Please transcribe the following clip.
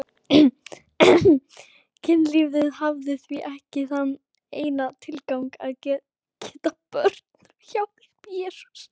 Kynlífið hafði því ekki þann eina tilgang að geta börn.